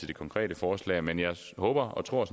de konkrete forslag men jeg håber og tror